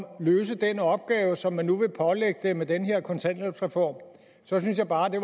at løse den opgave som man nu vil pålægge det med den her kontanthjælpsreform så synes jeg bare det